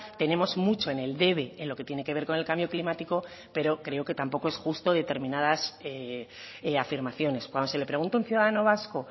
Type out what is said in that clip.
tenemos mucho en el debe en lo que tiene que ver con el cambio climático pero creo que tampoco es justo determinadas afirmaciones cuando se le pregunta a un ciudadano vasco